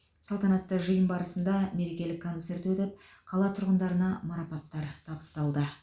салтанатты жиын барысында мерекелік концерт өтіп қала тұрғындарына марапаттар табысталды